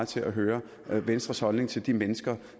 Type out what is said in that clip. til at høre venstres holdning til de mennesker